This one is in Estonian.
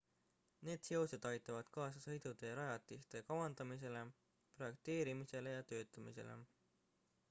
need seosed aitavad kaasa sõidutee rajatiste kavandamisele projekteerimisele ja töötamisele